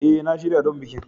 A, na shirya don bikin